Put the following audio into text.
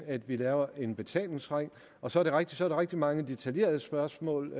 at vi laver en betalingsring og så er det rigtigt så er rigtig mange detailspørgsmål